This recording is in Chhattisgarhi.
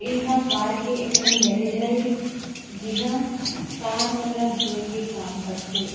एहा कार के एक ठन गैरेज हरे जिहा कार मन ल धोए के काम कर थे।